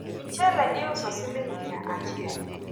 mchele iuso siling' miya achiel